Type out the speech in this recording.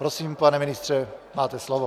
Prosím, pane ministře, máte slovo.